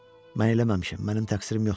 Mən eləməmişəm, mənim təqsirim yoxdur.